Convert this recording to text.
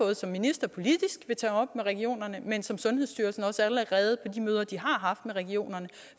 jeg som minister politisk vil tage op med regionerne men som sundhedsstyrelsen også allerede på de møder de har haft med regionerne